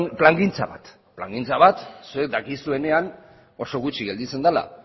plangintza bat plangintza bat zuek dakizuenean oso gutxi gelditzen dela